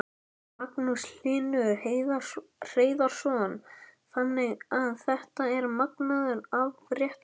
Magnús Hlynur Hreiðarsson: Þannig að þetta er magnaður afréttur?